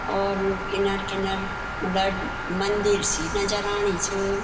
और यु इनर किनर मलड़ मंदिर सी नजर आणी च।